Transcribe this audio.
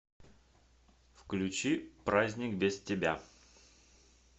включи праздник без тебя